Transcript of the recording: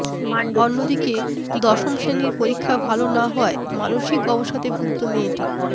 অন্যদিকে দশ শ্রেনীর পরীক্ষা ভাল না হওয়ায় মানসিক অবসাদে ভুগত মেয়েটি